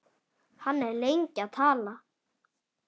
Hann er lengi að tala.